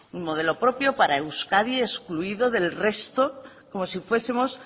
un modelo propio para euskadi excluido del resto como si fuesemos